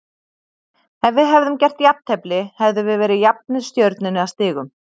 Ef við hefðum gert jafntefli hefðum við verið jafnir Stjörnunni að stigum.